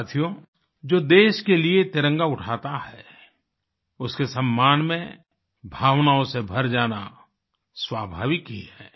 साथियो जो देश के लिए तिरंगा उठाता है उसके सम्मान में भावनाओं से भर जाना स्वाभाविक ही है